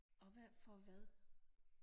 Og hvad for hvad?